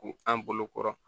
K'u an bolo kɔrɔ